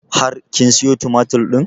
Har kin siyo tumatur ɗin?